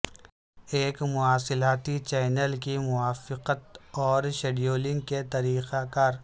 ایک مواصلاتی چینل کی موافقت اور شیڈولنگ کے طریقہ کار